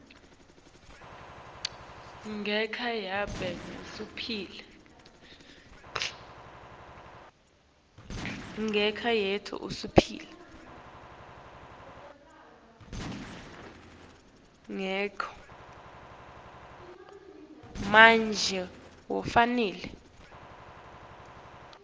ngenca yanobe ngusiphi